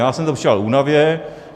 Já jsem to přičítal únavě.